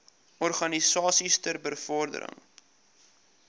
organisasies ter bevordering